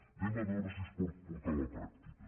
anem a veure si es pot portar a la pràctica